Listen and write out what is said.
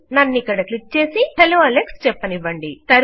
నన్నిక్కడ click చేసి hello Alex చెప్పనివ్వండి